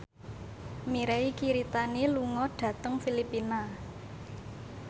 Mirei Kiritani lunga dhateng Filipina